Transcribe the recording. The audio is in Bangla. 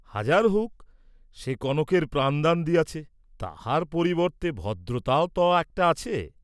হাজার হৌক্‌ সে কনকের প্রাণদান দিয়াছে, তাহার পরিবর্ত্তে ভদ্রতাও ত একটা আছে।